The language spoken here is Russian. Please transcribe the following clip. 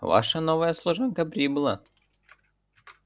ваша новая служанка прибыла